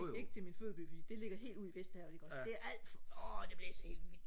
ikke til min fødeby for det ligger helt ude i vesterhavet ikke også det er alt for åh det blæser helt vildt